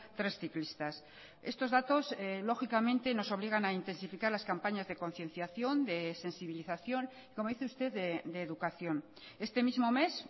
tres ciclistas estos datos lógicamente nos obligan a intensificar las campañas de concienciación de sensibilización como dice usted de educación este mismo mes